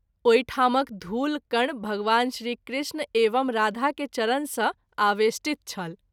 ओहि ठामक धूल कण भगवान श्री कृष्ण एवं राधा के चरण सँ आवेष्टित छल।